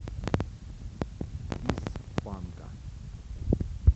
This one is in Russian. из панка